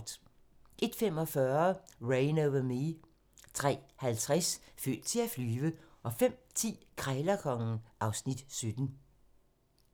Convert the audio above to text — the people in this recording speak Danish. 01:45: Reign Over Me 03:50: Født til at flyve 05:10: Krejlerkongen (Afs. 17)